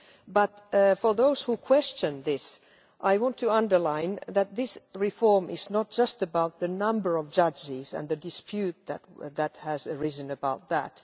But for those who question this, I want to underline that this reform is not just about the number of judges and the dispute that that has arisen about that.